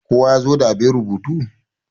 kowa ya zo da abin rubutu!